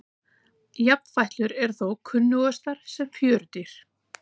Jafnfætlur eru þó kunnugastar sem fjörudýr.